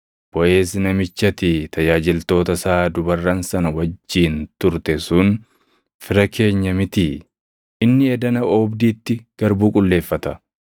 Boʼeez namichi ati tajaajiltoota isaa dubarran sana wajjin turte sun fira keenya mitii? Inni edana oobdiitti garbuu qulleeffata.